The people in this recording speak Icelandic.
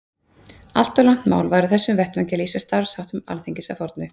Allt of langt mál væri á þessum vettvangi að lýsa starfsháttum Alþingis að fornu.